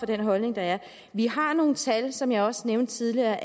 den holdning der er vi har nogle tal som jeg også nævnte tidligere